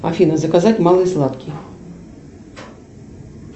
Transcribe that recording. афина заказать малые златки